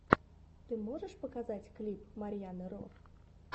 ты можешь показать клип марьяны ро